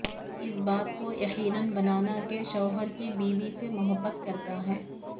اس بات کو یقینی بنانا کہ شوہر کی بیوی سے محبت کرتا ہے